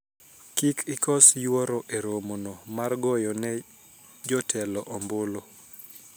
kik ikos yuoro e romo no mar goyo ne jotelo ombulu